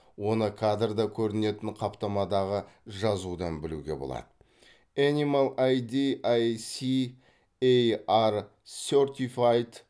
оны кадрда көрінетін қаптамадағы жазудан білуге болады энимал ай ди ай си эй ар сертифайд